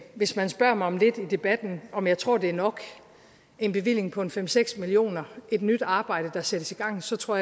hvis man spørger mig om lidt i debatten om jeg tror at det er nok en bevilling på fem seks million kr et nyt arbejde der sættes i gang så tror